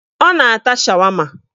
Ọ na-ata shawama